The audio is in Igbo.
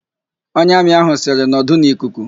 Onye Amị ahụ sịrị, "nọdụ n'ikuku"!